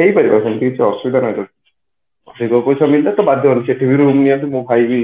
ହେଇପାରିବ ସେମିତି କିଛି ଅସୁବିଧା ନାହି ବାଧ୍ୟ ସେଇଠି ବି ରୁମ ନେଇକି ମୋ ଭାଇ ବି